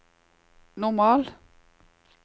normal